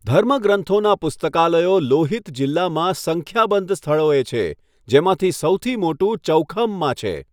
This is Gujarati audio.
ધર્મગ્રંથોના પુસ્તકાલયો લોહિત જિલ્લામાં સંખ્યાબંધ સ્થળોએ છે, જેમાંથી સૌથી મોટુ ચૌખમમાં છે.